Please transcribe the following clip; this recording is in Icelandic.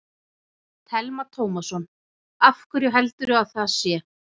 Telma Tómasson: Af hverju heldurðu að það sé?